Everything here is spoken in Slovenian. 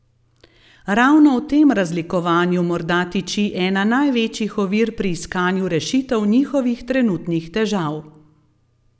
Ravno v tem razlikovanju morda tiči ena največjih ovir pri iskanju rešitev njihovih trenutnih težav.